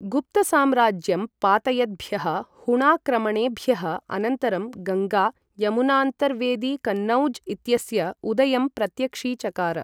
गुप्तसाम्राज्यं पातयद्भ्यः हूणाक्रमणेभ्यः अनन्तरं गङ्गा यमुनान्तर्वेदी कन्नौज् इत्यस्य उदयं प्रत्यक्षीचकार।